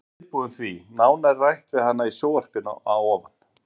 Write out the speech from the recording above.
Þú þarft að vera viðbúin því. Nánar er rætt við hana í sjónvarpinu að ofan.